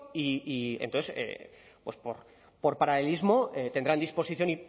y entonces por paralelismo tendrán disposición